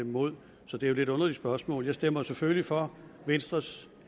imod så det er et lidt underligt spørgsmål jeg stemmer selvfølgelig for venstres